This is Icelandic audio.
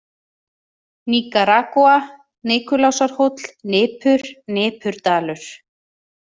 Nikaragúa, Nikulásarhóll, Nipur, Nipurdalur